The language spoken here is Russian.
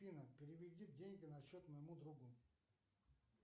афина переведи деньги на счет моему другу